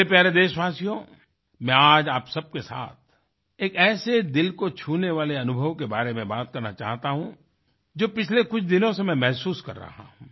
मेरे प्यारे देशवासियो मैं आज आप सब के साथ एक ऐसे दिल को छूने वाले अनुभव के बारे में बात करना चाहता हूँ जो पिछले कुछ दिनों से मैं महसूस कर रहा हूँ